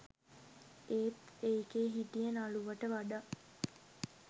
ඒත් ඒකෙ හිටිය නළුවට වඩා